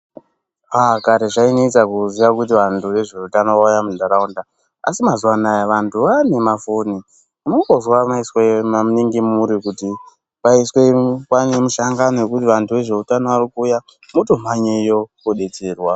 Kare zvainesa kuziya kuti vantu vezveutano vauya mundaraunda asi mazuwa anaya vantu vanemafoni .Unongozwe maiswa maningi muri kuti paiswe mushangano wekuti vantu vezveutano varikuuya .Motomhanyeyo kodetserwa.